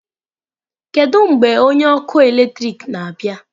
Kedu mgbe onye ọkụ eletrik na-abịa?